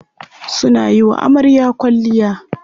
Suna yiwa amarya kwalliya.